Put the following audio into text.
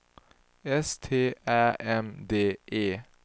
S T Ä M D E